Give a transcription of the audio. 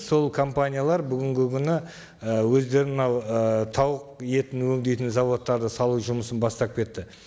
сол компаниялар бүгінгі күні і өздері мынау ы тауық етін өңдейтін заводтарды салу жұмысын бастап кетті